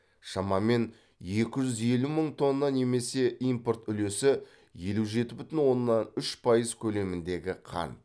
шамамен екі жүз елу мың тонна немесе импорт үлесі елу жеті бүтін оннан үш пайыз көлеміндегі қант